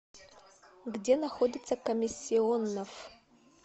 где находится комиссионнофф